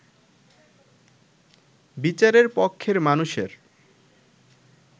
বিচারের পক্ষের মানুষের